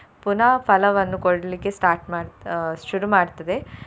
ಪುನಃ ಫಲವನ್ನು ಕೊಡ್ಲಿಕ್ಕೆ start ಮಾಡ್ತ~ ಅಹ್ ಶುರು ಮಾಡ್ತದೆ.